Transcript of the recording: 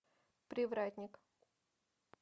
привратник